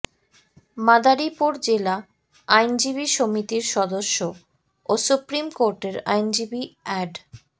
মাদারীপুর জেলা আইনজীবী সমিতির সদস্য ও সুপ্রিম কোর্টের আইনজীবী এ্যাড